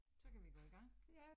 Så kan vi gå i gang